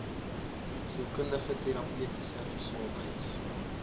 sielkundige terapeutiese gesondheids